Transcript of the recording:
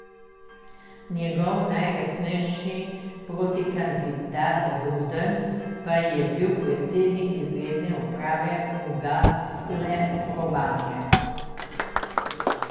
Njegov najresnejši protikandidat Gruden pa je bil predsednik izredne uprave ugasle Probanke.